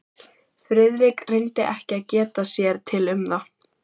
Friðrik reyndi ekki að geta sér til um það.